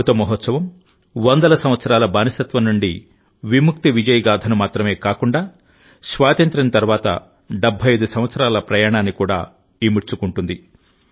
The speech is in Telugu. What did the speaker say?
అమృత మహోత్సవం వందల సంవత్సరాల బానిసత్వం నుండి విముక్తి విజయ గాథను మాత్రమే కాకుండా స్వాతంత్ర్యం తర్వాత 75 సంవత్సరాల ప్రయాణాన్ని కూడా ఇముడ్చుకుంటుంది